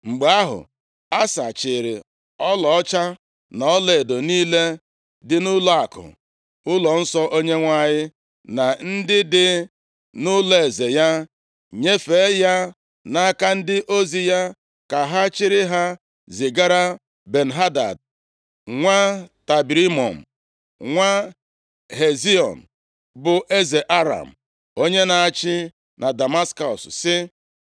Mgbe ahụ, Asa chịịrị ọlaọcha na ọlaedo niile dị nʼụlọakụ ụlọnsọ Onyenwe anyị, na ndị dị nʼụlọeze ya, nyefee ya nʼaka ndị ozi ya ka ha chịrị ha zigara Ben-Hadad, nwa Tabrimọm, nwa Hezion, bụ eze Aram, onye na-achị na Damaskọs, sị,